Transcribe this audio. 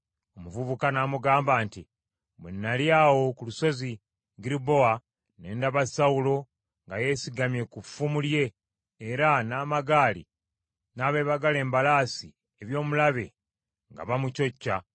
Omuvubuka n’amugamba nti, “Bwe nnali awo ku lusozi Girubowa, ne ndaba Sawulo nga yeesigamye ku ffumu lye era n’amagaali n’abeebagala embalaasi eby’omulabe nga bamucocca.